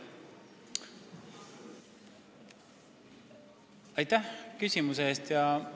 Aitäh küsimuse eest!